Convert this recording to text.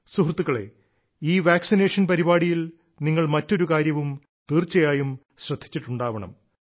സുഹൃത്തുക്കളേ ഈ വാക്സിനേഷൻ പരിപാടിയിൽ നിങ്ങൾ മറ്റൊരു കാര്യവും തീർച്ചയായും ശ്രദ്ധിച്ചിട്ടുണ്ടാവണം